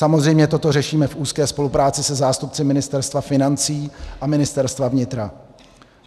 Samozřejmě toto řešíme v úzké spolupráci se zástupci Ministerstva financí a Ministerstva vnitra.